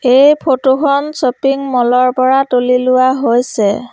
এই ফটো খন shopping mall ৰ পৰা তুলি লোৱা হৈছে।